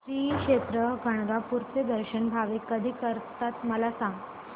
श्री क्षेत्र गाणगापूर चे दर्शन भाविक कधी करतात मला सांग